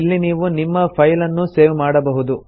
ಇಲ್ಲಿ ನೀವು ನಿಮ್ಮ ಫೈಲ್ ಅನ್ನು ಸೇವ್ ಮಾಡಬಹುದು